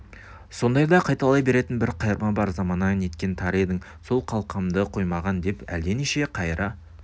сондайда қайталай беретін бір қайырма бар замана неткен тар едің сол қалқамды қоймаған деп әлденеше қайыра